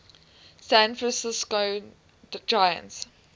san francisco giants